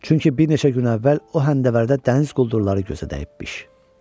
Çünki bir neçə gün əvvəl o həndəvərdə dəniz quldurları gözə dəyibmiş.